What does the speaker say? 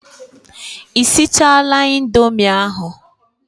Ị sichaala indomi ahụ?